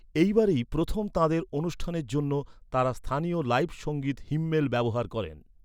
এইবারেই প্রথম তাঁদের অনুষ্ঠানের জন্য তাঁরা স্থানীয় লাইভ সঙ্গীত হিম্মেল ব্যবহার করেন।